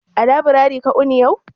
A laburare ka wuni ne yau?